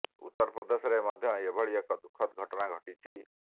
ଉତ୍ତର ପ୍ରଦେଶରେ ମଧ୍ୟ ଏଭଳି ଏକ ଦୁଃଖଦ ଘଟଣା ଘଟିଛି